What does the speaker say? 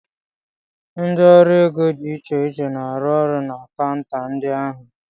Ndị ọrụ ego dị iche iche na-arụ ọrụ na kaunta ndị ahụ.